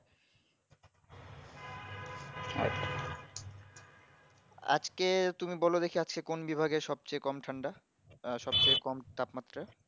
আর আজকে তুমি বলো দেখি আজকে কোন বিভাগে সবচেয়ে কম ঠান্ডা এ সবচেয়ে কম তাপ মাত্রা